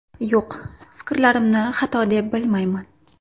Yo‘q, fikrlarimni xato deb bilmayman.